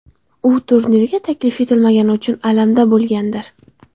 U turnirga taklif etilmagani uchun alamda bo‘lgandir.